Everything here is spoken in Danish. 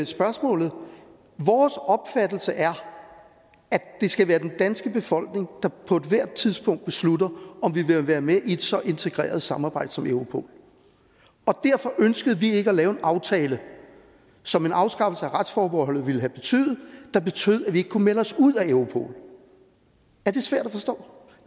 spørgsmålet vores opfattelse er at det skal være den danske befolkning der på ethvert tidspunkt beslutter om vi vil være med i et så integreret samarbejde som europol derfor ønskede vi ikke at lave en aftale som en afskaffelse af retsforbeholdet ville have betydet der betød at vi ikke kunne melde os ud af europol er det svært at forstå